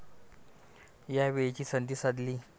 या वेळेची संधी साधली.